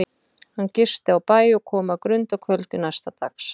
Hann gisti á bæ og kom að Grund að kvöldi næsta dags.